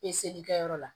Peseli kɛyɔrɔ la